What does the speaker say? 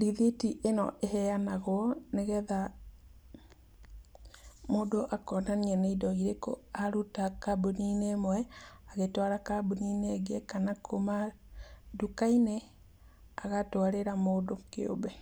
rithiti ĩno ĩheanagwo nĩ getha mũndũ akonania nĩ indo irĩkũ aruta kambuni-inĩ ĩmwe agĩtwara kambuni-inĩ ĩngĩ, kana kuma nduka-inĩ agatwarĩra mũndũ kĩũmbe.